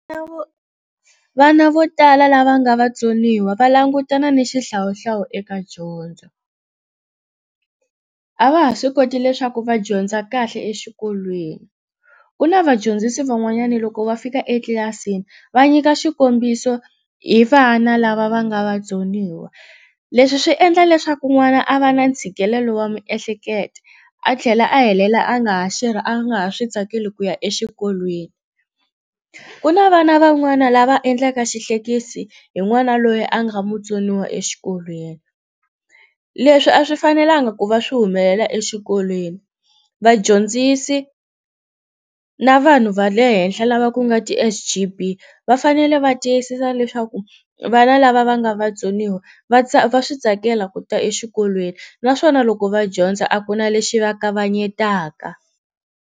Vana vo tala lava nga vatsoniwa va langutana ni xihlawuhlawu eka dyondzo a va ha swi koti leswaku va dyondza kahle exikolweni ku na vadyondzisi van'wanyana loko va fika etlilasini va nyika xikombiso hi vana lava va nga vatsoniwa leswi swi endla leswaku n'wana a va na ntshikelelo wa miehleketo a tlhela a helela a nga ha a nga ha swi tsakeli ku ya exikolweni ku na vana van'wana lava endlaka xihlekisi hi n'wana loyi a nga mutsoniwa exikolweni leswi a swi fanelanga ku va swi humelela exikolweni vadyondzisi na vanhu va le henhla lava ku nga ti S_G_B va fanele va tiyisisa leswaku vana lava va nga vatsoniwa va va swi tsakela ku ta exikolweni naswona loko va dyondza a ku na lexi va kavanyetaka.